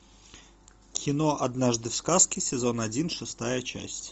кино однажды в сказке сезон один шестая часть